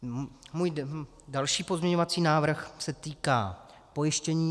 Můj další pozměňovací návrh se týká pojištění.